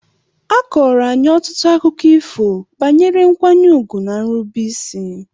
A kọọrọ anyị ọtụtụ akụkọ ifo banyere nkwanye ùgwù na nrubeisi.